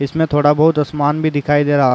इसमें थोड़ा बहुत आसमान भी दिखाई दे रहा --